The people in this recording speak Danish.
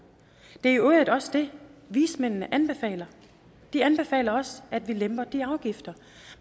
det i øvrigt også det vismændene anbefaler de anbefaler også at vi lemper de afgifter